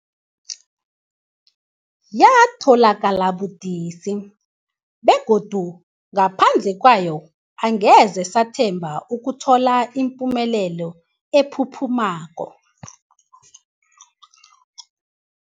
Yatholakala budisi, begodu ngaphandle kwayo angeze sathemba ukuthola ipumelelo ephuphumako.